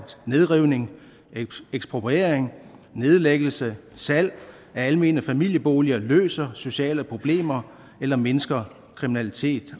nedrivning ekspropriering nedlæggelse salg af almene familieboliger løser sociale problemer eller mindsker kriminalitet